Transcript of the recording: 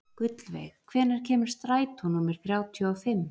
Gullveig, hvenær kemur strætó númer þrjátíu og fimm?